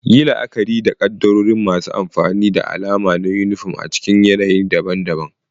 Yi la'akari da kaddarorin masu amfani da na alama na yunifom a cikin yanayi daban-daban.